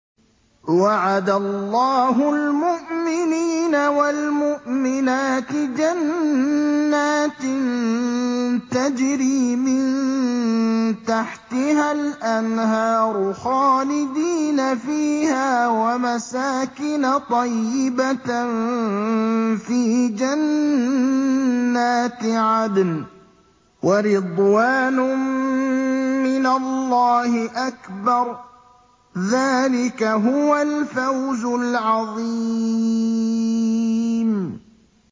وَعَدَ اللَّهُ الْمُؤْمِنِينَ وَالْمُؤْمِنَاتِ جَنَّاتٍ تَجْرِي مِن تَحْتِهَا الْأَنْهَارُ خَالِدِينَ فِيهَا وَمَسَاكِنَ طَيِّبَةً فِي جَنَّاتِ عَدْنٍ ۚ وَرِضْوَانٌ مِّنَ اللَّهِ أَكْبَرُ ۚ ذَٰلِكَ هُوَ الْفَوْزُ الْعَظِيمُ